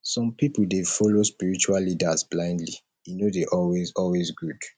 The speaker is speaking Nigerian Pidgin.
some pipo dey follow spiritual leaders blindly e no dey always always good